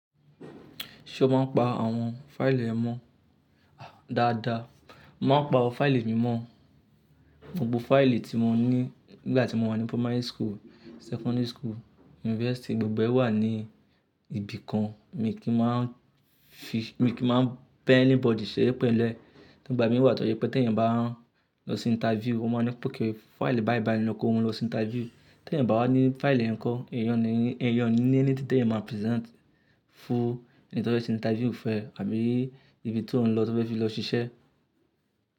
Ṣé o máa ń pa àwọn fáìlì rẹ mọ́? Dáadáa, mo máa ń pa àwọn fáìlì mi mọ́. Gbogbo fáìlì tí mo ní nígbà tí mo wà ní primary school, secondary school, university, gbogbo ẹ wà ní ibìkan mi kí n máa ń fi, mi kí n máa ń bẹ̀ anybody ṣere pẹ̀lu ẹ́. Nígbà mí wà tó jẹ pé tí èèyàn bá lọ sí interview, wọn máa ní pè ké fáìlì bàìbàì lọ kó mu lọ sí interview. Tí èèyàn bá wá ní fáìlì ẹ̀ kọ́, ẹ̀yàn ni, ẹ̀yàn ni ní ẹni tí ẹ máa present fún ẹni tó bá ṣe interview fún ẹ àbí ibi tí òun lọ tó bá fẹ́ lọ ṣiṣẹ́.